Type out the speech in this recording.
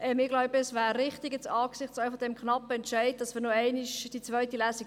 Ich glaube, eine zweite Lesung wäre angesichts des knappen Entscheids wichtig.